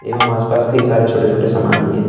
आसपास कई सारे छोटे छोटे समान भी है।